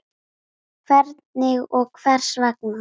Hvernig og hvers vegna?